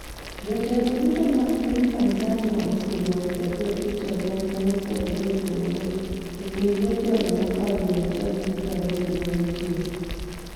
Jotelo duto mag piny Tanzania osewuok e dho ut oganda mopogore opogore e kind jotelo mokalo 120 ma nitie.